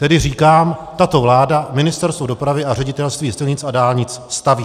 Tedy říkám, tato vláda, Ministerstvo dopravy a Ředitelství silnic a dálnic staví.